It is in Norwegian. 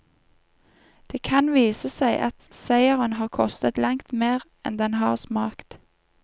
Det kan vise seg at seieren har kostet langt mer enn den har smakt.